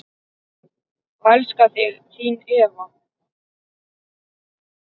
Ég elska þig, þín Eva.